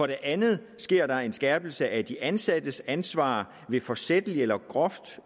det andet sker der en skærpelse af de ansattes ansvar ved forsætlige eller groft